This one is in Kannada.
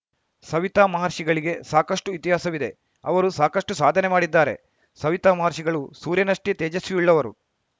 ಸವಿತಾ ಮಹರ್ಷಿಗಳಿಗೆ ಸಾಕಷ್ಟುಇತಿಹಾಸವಿದೆ ಅವರು ಸಾಕಷ್ಟುಸಾಧನೆ ಮಾಡಿದ್ದಾರೆ ಸವಿತಾ ಮಹರ್ಷಿಗಳು ಸೂರ್ಯನಷ್ಟೇ ತೇಜಸ್ವಿಯುಳ್ಳವರು